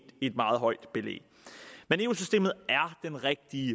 meget højt belæg men eu systemet er den rigtige